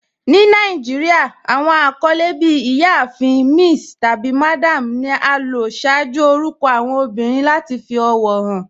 Ní Nàìjíríà, awọn akọlẹ bí "Ìyáàfin." "Miss," tabi "Madam" ni a lò ṣaaju orúkọ awọn obìrín lati fi ọwọ han.